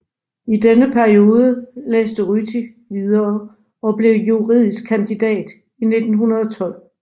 I denne periode læste Ryti videre og blev juridisk kandidat i 1912